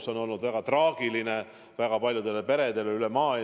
See on olnud väga traagiline väga paljudele peredele üle maailma.